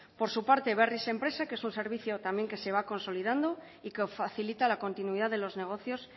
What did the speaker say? por su parte berriz enpresa que es un servicio también que se va consolidando y que facilita la continuidad de los negocios